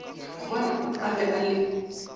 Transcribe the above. gobane a be a le